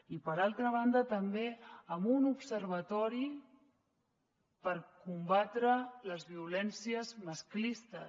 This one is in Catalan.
i per altra banda també amb un observatori per combatre les violències masclistes